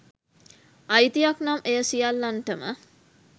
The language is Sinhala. අයිතියක් නම් එය සියල්ලනටම